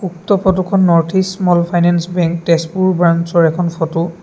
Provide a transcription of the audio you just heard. উক্ত ফটোখন north east small finance bank Tezpur ব্ৰাঞ্চৰ এখন ফটো ।